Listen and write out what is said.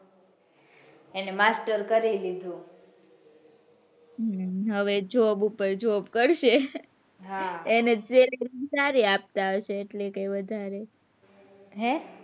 એને master કરી લીધું હમ હવે job ઉપર job કરશે હા એને training સારી આપતા હશે કૈક વધારે હે,